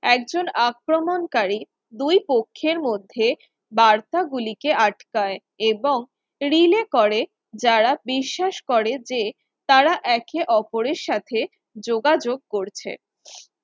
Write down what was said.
একজন আক্রমণকারী দুই পক্ষের মধ্যে বার্তা গুলিকে আটকায় এবং relay করে যারা বিশ্বাস করে যে তারা একে অপরের সাথে যোগাযোগ করছে